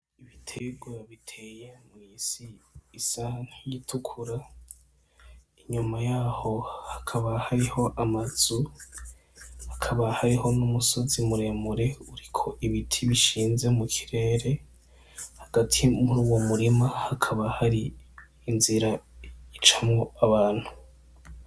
Ibitegwa biteye mw'isi isa nk'iyitukura inyuma yaho hakaba hariho amazu, hakaba hariho n'umusozi muremure uriko ibiti bishinze mu kirere hagati muruwo murima hakaba hari inzira icamwo abantu.